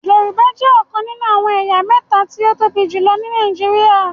Yorùbá jẹ ọkàn nínú àwọn ẹ̀yà méta tí o tóbi jùlọ ní Nàìjíríà